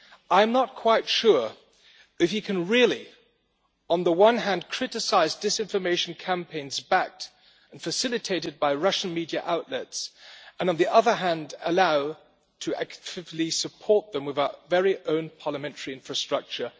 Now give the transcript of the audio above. I'm not quite sure if you can really, on the one hand, criticise disinformation campaigns backed and facilitated by Russian media outlets and, on the other hand, allow active support to them with our very own parliamentary infrastructure.